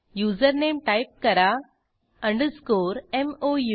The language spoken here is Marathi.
युजरनेम टाईप करा कन्नन mou